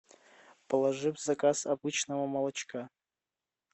положи в заказ обычного молочка